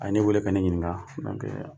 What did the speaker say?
A ye ne wele ka ne ɲininka donc